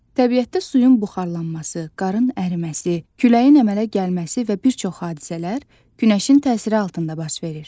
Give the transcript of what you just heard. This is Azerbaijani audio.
Təbiətdə suyun buxarlanması, qarın əriməsi, küləyin əmələ gəlməsi və bir çox hadisələr günəşin təsiri altında baş verir.